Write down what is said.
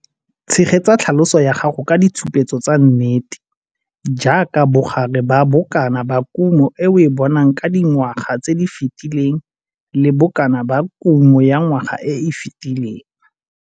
Tshegetsa tlhaloso ya gago ka ditshupetso tsa nnete - jaaka bogare ba bokana ba kumo e o e bonang ka dingwaga tse di fetileng le bokana ba kumo ya ngwaga e e fetileng.